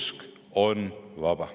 Usk on vaba.